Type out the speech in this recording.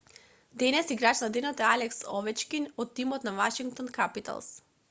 денес играч на денот е алекс овечкин од тимот на вашингтон капиталс